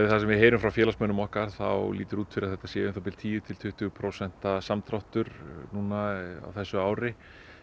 við heyrum frá félagsmönnum okkar þá lítur út fyrir að þetta sé tíu til tuttugu prósent samdráttur núna á þessu ári